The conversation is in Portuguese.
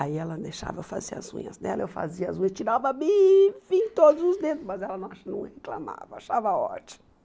Aí ela deixava eu fazer as unhas dela, eu fazia as unhas, tirava bife em todos os dedos, mas ela não acha não reclamava, achava ótimo.